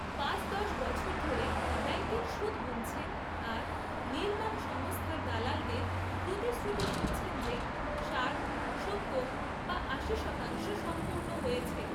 পাঁচ দশ বছর ধরে ব্যাঙ্কের সুদ গুণছেন আর নির্মাণ সংস্থার দালালদের প্রতিশ্রুতি শুনছেন যে, ষাট, সত্তর বা আশি শতাংশ সম্পূর্ণ হয়েছে।